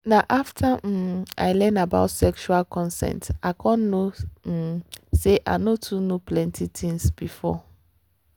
na after um i learn about sexual consent i come know um say i no too know plenty things before.